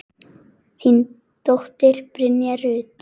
Þín dóttir, Brynja Rut.